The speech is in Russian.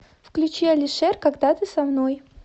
включи алишер когда ты со мной